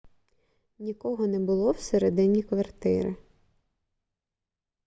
нікого не було всередині квартири